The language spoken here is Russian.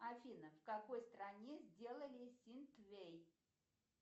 афина в какой стране сделали синквейн